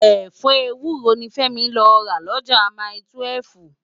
Efọ éwúró ni Femi lò rá Loja mái-túwèf